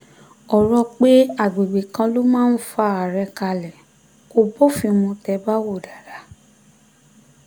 ọ̀rọ̀ pé àgbègbè kan ló máa fa àárẹ̀ kalẹ̀ kò bófin mu tẹ́ ẹ bá wò ó dáadáa